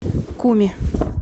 куми